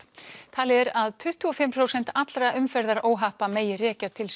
talið er að tuttugu og fimm prósent allra umferðaróhappa megi rekja til